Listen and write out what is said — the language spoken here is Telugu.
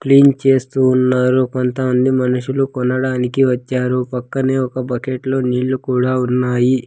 క్లీన్ చేస్తూ ఉన్నారు కొంత మంది మనుషులు కొనడానికి వచ్చారు పక్కనే ఒక బకెట్ లో నీళ్ళు కూడా ఉన్నాయి.